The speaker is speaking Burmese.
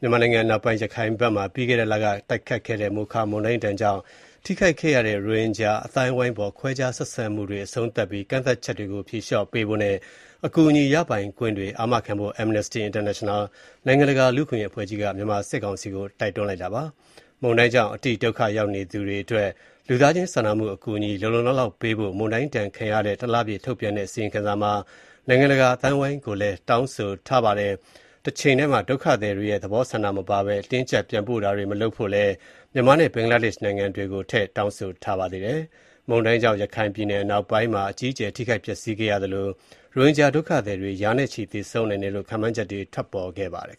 မြန်မာနိုင်ငံ အနောက်ပိုင်းမှာ ပြီးခဲ့တဲ့လက တိုက်ခတ်ခဲ့တဲ့ မိုခါ မုန်တိုင်း ဒဏ်ကြောင့် ထိခိုက်ခဲ့ရတဲ့ ရိုဟင်ဂျာ အသိုင်းအဝိုင်းအပေါ် ခွဲခြားဆက်ဆံမှုတွေ အဆုံးသတ်ပြီး ကန့်သတ်ချက်တွေ ဖြေလျော့ပေးဖို့နဲ့ အကူအညီရပိုင်ခွင့်တွေ အာမခံဖို့ Amnestry International နိုင်ငံတကာ လူ့အခွင့်အရေးအဖွဲ့ကြီးက မြန်မာစစ်ကောင်စီကို တိုက်တွန်းလိုက်ပါတယ်။ မုန်တိုင်းကြောင့် အတိဒုက္ခရောက်သူတွေအတွက် လူသားချင်းစာနာမှု အကူအညီ လုံလုံလောက်လောက် ပေးဖို့ မုန်တိုင်းဒဏ်ခံရတဲ့ တလပြည့် ထုတ်ပြန်တဲ့ အစီရင်ခံစာမှာ နိုင်ငံတကာအသိုင်းအဝိုင်းကို တောင်းဆိုထားပါတယ်။ တချိန်တည်းမှာ ဒုက္ခသည်တွေရဲ့ သဘောဆန္ဒမပါဘဲ အတင်းအကျပ် ပြန်ပို့တာတွေ မလုပ်ဖို့ မြန်မာနဲ့ ဘင်္ဂလားဒေ့ရှ်နိုင်ငံတွေကို တောင်းဆိုထားပါတယ်။ မုန်တိုင်းကြောင့် ရခိုင်ပြည်နယ် အနောက်ပိုင်းမှာ အကြီးအကျယ်ထိခိုက်ပျက်ဆီးခဲ့သလို ရိုဟင်ဂျာ ဒုက္ခသည်တွေ ရာနဲ့ချီသေဆုံးနိုင်တယ်လို့ ခန့်မှန်းချက်တွေ ထွက်ပေါ်ခဲ့ပါတယ်